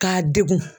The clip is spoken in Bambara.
K'a degun